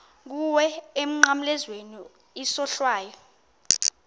kuwe emnqamlezweni isohlwayo